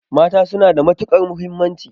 Mata suna da matuƙar mahimmanci.